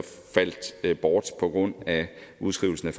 faldt bort på grund af udskrivelsen af